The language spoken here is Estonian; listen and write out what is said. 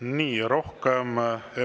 Nii, rohkem …